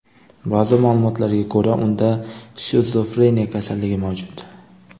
Ba’zi ma’lumotlarga ko‘ra, unda shizofreniya kasalligi mavjud.